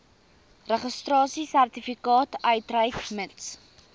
registrasiesertifikaat uitreik mits